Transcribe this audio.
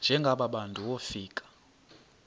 njengaba bantu wofika